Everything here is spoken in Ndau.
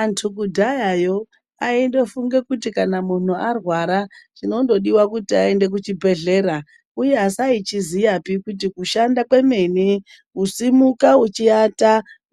Antu kudhayako aingofunga kuti muntu kana arwara zvinongodiwa kuenda kuchibhedhlera vasingazivi kuti kushandawo kwakaita sekusimuka